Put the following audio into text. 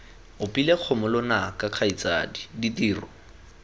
opile kgomo lonaka kgaitsadi ditiro